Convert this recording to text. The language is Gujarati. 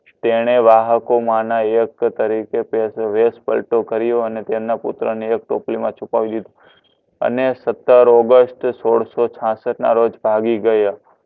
તેણે રણકો મા ના એ તરીકે કર્યો અને તેમના પુતડા ને એક ટોપલી મા છુપાવ્યૂ અને સત્તર ઓગસ્ત સોડસોછાસટ ના રોજ પાવી ગયા